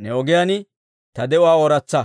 ne ogiyaan ta de'uwaa ooratsa.